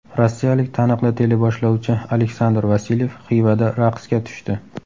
Rossiyalik taniqli teleboshlovchi Aleksandr Vasilyev Xivada raqsga tushdi .